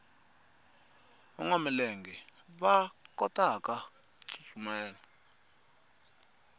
vanwa milenge va kotaku tsutsuma